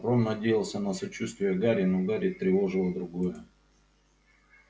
рон надеялся на сочувствие гарри но гарри тревожило другое